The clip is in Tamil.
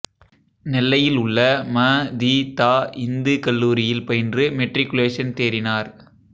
நெல்லையில் உள்ள ம தி தா இந்து கல்லூரியில் பயின்று மெட்ரிக்குலேஷன் தேறினார்